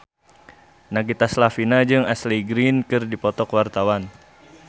Nagita Slavina jeung Ashley Greene keur dipoto ku wartawan